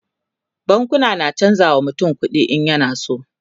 bankuna na chanza wa mutum kuɗi in yana so